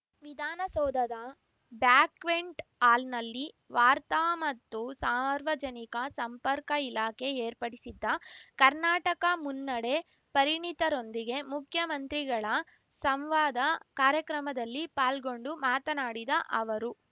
ವಿಧಾನಸೌಧದ ಬ್ಯಾಕ್ವೆಂಟ್‌ ಹಾಲ್‌ನಲ್ಲಿ ವಾರ್ತಾ ಮತ್ತು ಸಾರ್ವಜನಿಕ ಸಂಪರ್ಕ ಇಲಾಖೆ ಏರ್ಪಡಿಸಿದ್ದ ಕರ್ನಾಟಕ ಮುನ್ನಡೆಪರಿಣಿತರೊಂದಿಗೆ ಮುಖ್ಯಮಂತ್ರಿಗಳ ಸಂವಾದ ಕಾರ್ಯಕ್ರಮದಲ್ಲಿ ಪಾಲ್ಗೊಂಡು ಮಾತನಾಡಿದ ಅವರು